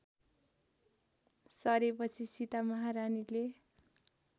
सरेपछि Sita महारानीले